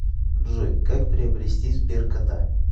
джой как приобрести сберкота